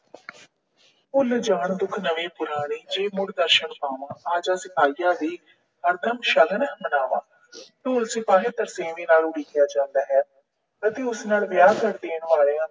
ਭੁੱਲ ਜਾਣ ਦੁੱਖ ਨਵੇਂ-ਪੁਰਾਣੇ ਜੇ ਮੁੜ ਦਰਸ਼ਨ ਪਾਵਾਂ, ਆ ਜਾ ਸਿਪਾਹੀਆ ਵੇ ਹਰ ਦਮ ਸ਼ਗਨ ਮਨਾਵਾਂ। ਢੋਲ ਸਿਪਾਹੀਆ ਤਰਸੇਵੇਂ ਨਾਲ ਉਡੀਕਿਆ ਜਾਂਦਾ ਹੈ ਅਤੇ ਉਸ ਨਾਲ ਵਿਆਹ ਕਰ ਦੇਣ ਵਾਲਿਆਂ